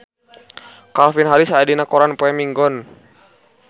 Calvin Harris aya dina koran poe Minggon